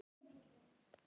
Rýndi í hvert horn.